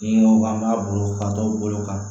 Ni an b'a bolo ka taa o bolo kan